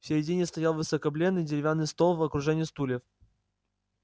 в середине стоял выскобленный деревянный стол в окружении стульев